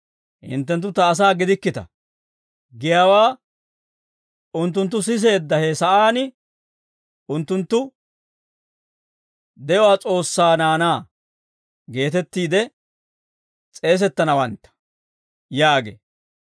‹Hinttenttu ta asaa gidikkita› giyaawaa, unttunttu siseedda he sa'aan, unttunttu, ‹De'uwaa S'oossaa naanaa› geetettiide s'eesettanawantta» yaagee.